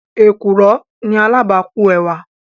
Èkùrọ́ ni alábàákú ẹwà.